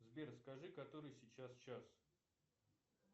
сбер скажи который сейчас час